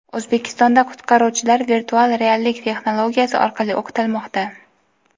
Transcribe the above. O‘zbekistonda qutqaruvchilar virtual reallik texnologiyasi orqali o‘qitilmoqda.